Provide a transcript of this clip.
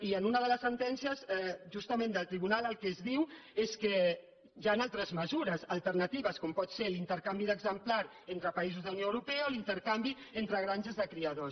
i en una de les sentències justament del tribunal el que es diu és que hi han altres mesures alternatives com pot ser l’intercanvi d’exemplars entre països de la unió europea o l’intercanvi entre granges de criadors